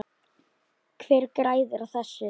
Hver græðir á þessu?